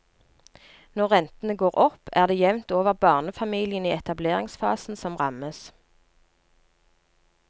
Når rentene går opp, er det jevnt over barnefamiliene i etableringsfasen som rammes.